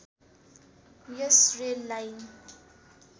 yes rail line